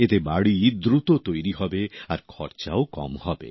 এতে বাড়ি দ্রুত তৈরি হবে আর খরচাও কম হবে